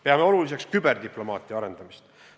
Peame oluliseks küberdiplomaatia arendamist.